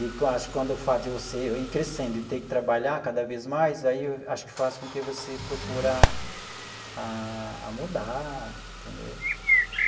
E acho que quando o fato de você ir crescendo e ter que trabalhar cada vez mais, aí acho que faz com que você procura a a mudar, entendeu?